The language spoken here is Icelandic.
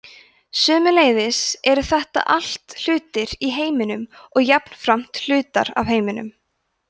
sömuleiðis eru þetta allt hlutir í heiminum og jafnframt hlutar af heiminum